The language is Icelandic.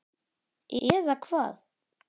Eða Hvað?